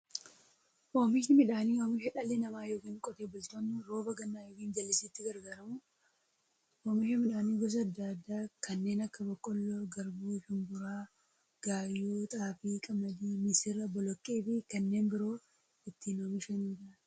Oomishni midhaanii, oomisha dhalli namaa yookiin Qotee bultoonni roba gannaa yookiin jallisiitti gargaaramuun oomisha midhaan gosa adda addaa kanneen akka; boqqoolloo, garbuu, shumburaa, gaayyoo, xaafii, qamadii, misira, boloqqeefi kanneen biroo itti oomishamiidha.